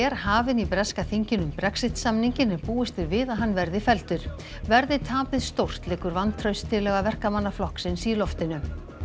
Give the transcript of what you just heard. hafin í breska þinginu um Brexit samninginn en búist er við að hann verði felldur verði tapið stórt liggur vantrauststillaga Verkamannaflokksins í loftinu